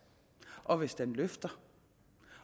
og hvis den løfter